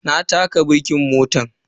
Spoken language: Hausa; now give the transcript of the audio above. Na taka birkin motan.